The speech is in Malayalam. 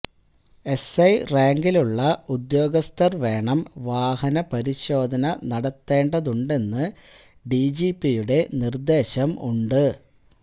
എസ്ഐ റാങ്കിലുള്ള ഉദ്യോഗസ്ഥര് വേണം വാഹന പരിശോധന നടത്തേണ്ടതുണ്ടെന്ന് ഡിജിപിയുടെ നിര്ദേശം ഉണ്ട്